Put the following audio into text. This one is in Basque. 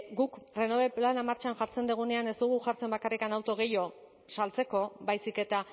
guk renove plana martxan jartzen dugunean ez dugu jartzen bakarrik auto gehiago saltzeko baizik eta